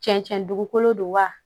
Cɛncɛn dugukolo de wa